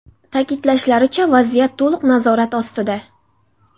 Ta’kidlashlaricha, vaziyat to‘liq nazorat ostida.